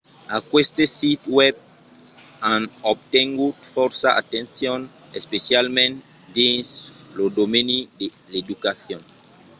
aqueste sits web an obtengut fòrça atencion especialament dins lo domeni de l'educacion